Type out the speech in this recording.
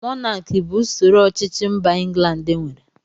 Mọnaki bụ usoro ọchịchị mba England nwere